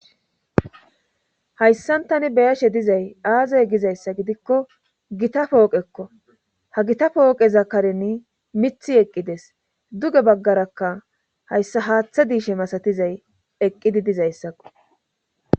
hayssantani beyashe dizay aazay gizayssa gidikko gita pooqekko ha gita pooqe zakarinn mithi eqqides duge baggarakka hayssa haaththa diishe masatizay eqqidi dizayssakko